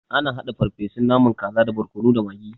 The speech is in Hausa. Ana haɗa farfesun naman kaza da borkono da magi.